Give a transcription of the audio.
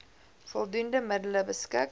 voldoende middele beskik